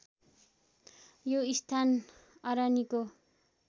यो स्थान अरनिको